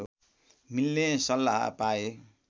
मिल्ने सल्लाह पाए